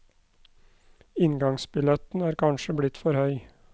Inngangsbilletten er kanskje blitt for høy.